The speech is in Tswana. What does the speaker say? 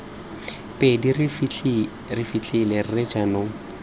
pedi re fitlhile rre jaanong